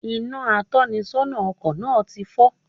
Inà atónisónà ọkò náà ti fó